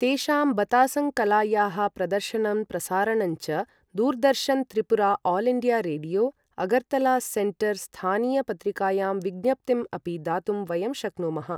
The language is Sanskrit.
तेषां बतासं कलायाः प्रदर्शनं प्रसारणञ्च Doordarshan Tripura all India radio, Agartala centre स्थानीय पत्रिकायां विज्ञप्तिम् अपि दातुं वयं शक्नुमः